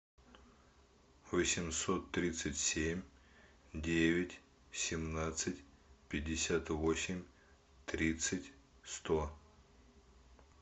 восемьсот тридцать семь девять семнадцать пятьдесят восемь тридцать сто